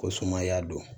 Ko sumaya don